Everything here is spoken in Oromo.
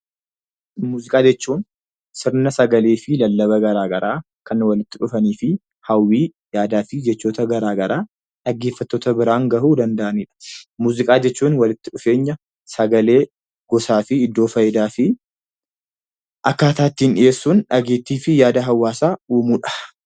Muuziqaa jechuun sirna sagalee fi lallaba garaa garaa kan walitti dhufanii fi hawwii yaadaa fi jechoota garaa garaa dhaggeffattoota biraan gahuu danda'anidha. Muuziqaa jechuun walitti dhufeenya sagalee gosaa fi akkaataa ittiin dhiyeessuu dandeenyuun dhageettii fi yaada hawaasaa uumuudha.